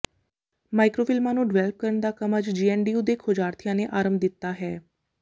micro ਫ਼ਿਲਮਾਂ ਨੂੰ develop ਕਰਨ ਦਾ ਕੰਮ ਅੱਜ ਜੀਐੱਨਡੀਯੂ ਦੇ ਖੋਜਾਰਥੀਆਂ ਨੇ ਆਰੰਭ ਦਿੱਤਾ ਹੈ